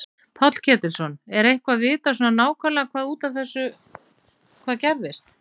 Páll Ketilsson: Er eitthvað vitað svona nákvæmlega hvað var út af þessu hvað gerðist?